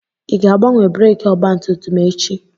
Ị ga-agbanwe breekị ọgbatumtum echi?